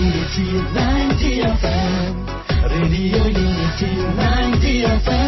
radio unity ninety F M